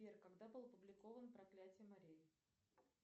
сбер когда был опубликован проклятие марии